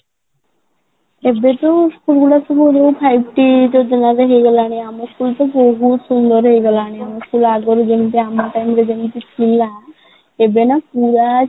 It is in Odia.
ଏବେ ବି school life ରେ ମଧ୍ୟ ଥାଇକି ଆମ school ତ ବହୁତ ସୁନ୍ଦର ହେଇଗଲାଣି ଆମ school ଆଗରୁ ଯେମିତି ଆମ ପାଇଁ ଯେମିତି ଥିଲା ସେଦିନ ପୁରା